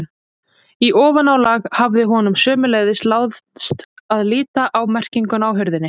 Í ofanálag hafði honum sömuleiðis láðst að líta á merkinguna á hurðinni.